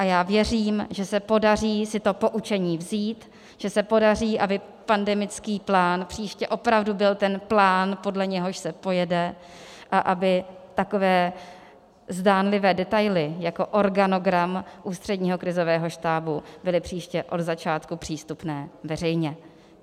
A já věřím, že se podaří si to poučení vzít, že se podaří, aby pandemický plán příště opravdu byl ten plán, podle něhož se pojede, a aby takové zdánlivé detaily jako organogram Ústředního krizového štábu byly příště od začátku přístupné veřejně.